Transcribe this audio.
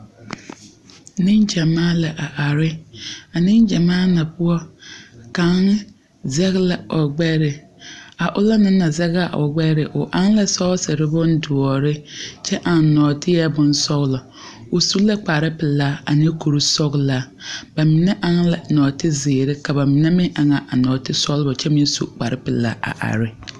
Neŋgyamaa la are. A neŋgyamaa na poɔ kaŋ zɛg la o gbɛre a ona naŋ zɛge o gbɛre o aŋ ne sɔɔsere bondoɔre kyɛ aŋ nɔɔteɛ bonsɔgelɔ. o su kpare pelaa ane kuri sɔgelaa. Ba mine aŋ la nɔ2tezeere ka ba mine aŋ a nɔɔte sɔgelɔ kyɛ me su kpare pelaa a are.